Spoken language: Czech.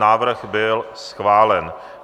Návrh byl schválen.